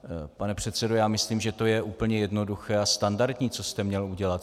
Pane předsedo, já myslím, že to je úplně jednoduché a standardní, co jste měl udělat.